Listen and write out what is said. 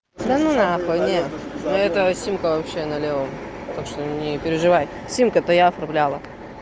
дану нахуй не этого симка вообще налево так что не переживай симку это я отправляла